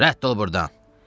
Rədd ol burdan!